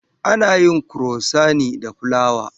Ana yin kurosant da fulawa.